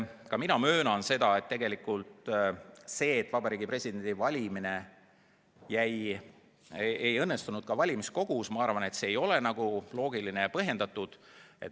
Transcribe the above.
Ka mina möönan, et tegelikult see, et Vabariigi Presidendi valimine valimiskogus ei õnnestunud, ei ole loogiline ja põhjendatud.